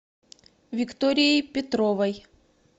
викторией петровой